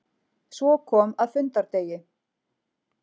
Svo kom að fundardegi.